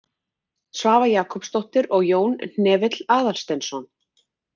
Svava Jakobsdóttir og Jón Hnefill Aðalsteinsson.